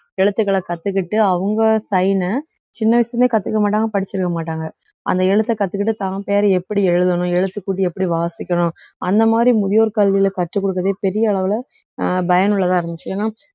எழுத்துக்களை கத்துக்கிட்டு அவங்க sign உ சின்ன வயசுல இருந்தே கத்துக்க மாட்டாங்க படிச்சிருக்க மாட்டாங்க அந்த எழுத்தை கத்துக்கிட்டு தான் பேரை எப்படி எழுதணும் எழுத்துக்கூட்டி எப்படி வாசிக்கணும் அந்த மாதிரி முதியோர் கல்வியிலே கற்றுக் கொடுக்கிறதே பெரிய அளவிலே அஹ் பயனுள்ளதா இருந்துச்சு ஏன்னா